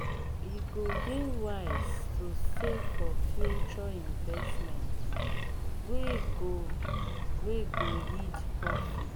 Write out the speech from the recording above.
e go dey wise to save for future investments wey go wey go yield profit.